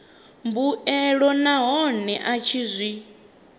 mbuelo nahone a tshi zwi